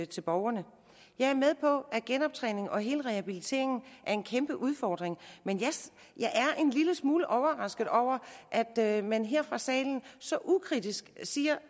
til borgerne jeg er med på at genoptræningen og hele rehabiliteringen er en kæmpe udfordring men jeg er en lille smule overrasket over at man her fra salen så ukritisk siger